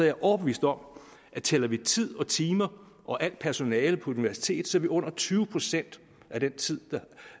jeg overbevist om at tæller vi tid og timer og al personale på universitetet vil under tyve procent af den tid der